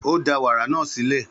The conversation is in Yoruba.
Ó da wàrà náà sílẹ̀.